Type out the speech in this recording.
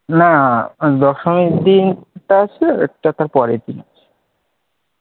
না দশমীর দিন এর টা পরে কিনা,